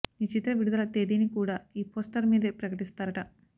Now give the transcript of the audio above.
ఈ చిత్ర విడుదల తేదీని కూడా ఈ పోస్టర్ మీదే ప్రకటిస్తారట